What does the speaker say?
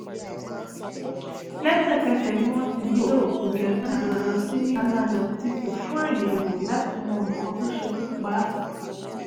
lẹ́sẹ̀kẹsẹ̀ ni wọ́n ti gbé òkú justina lọ sí mainland hospital fún àyẹ̀wò láti mọ nǹkan tó ṣekú pa á